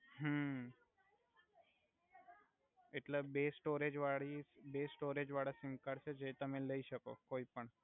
હુ એટ્લે બે સ્ટોરેજ વાળી બે સ્ટોરેજ વાળા સિમકાર્ડ છે જે તમે લઈ સકો કોઇ પણ